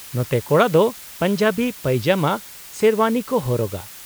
-ᱱᱚᱛᱮ ᱠᱚᱲᱟ ᱫᱚ ᱯᱟᱧᱡᱟᱵᱤ, ᱯᱟᱭᱡᱟᱢᱟ, ᱥᱮᱨᱣᱟᱱᱤ ᱠᱚ ᱦᱚᱨᱚᱜᱟ ᱾